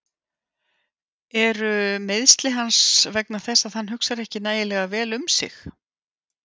Eru meiðsli hans vegna þess að hann hugsar ekki nægilega vel um sig?